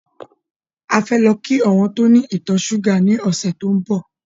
A fẹ́ lọ kí àwọn tó ní ìtọ̀ ṣúgà ní ọ̀sẹ̀ tí ó ń bọ̀.